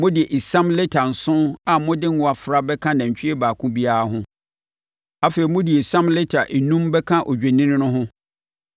Mode esiam lita nson a mode ngo afra bɛka nantwie baako biara ho. Afei, mode esiam lita enum bɛka odwennini no ho,